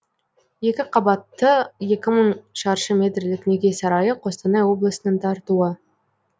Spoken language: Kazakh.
екі қабатты екі мың шаршы метрлік неке сарайы қостанай облысының тартуы